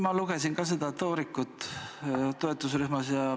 Ma lugesin ka seda toorikut toetusrühmas.